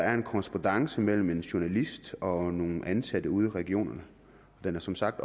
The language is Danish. er en korrespondance mellem en journalist og nogle ansatte ude i regionerne og den er som sagt